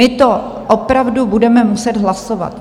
My to opravdu budeme muset hlasovat.